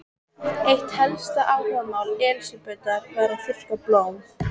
Eitt helsta áhugamál Elsabetar var að þurrka blóm.